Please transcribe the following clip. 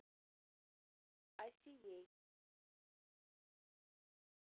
асией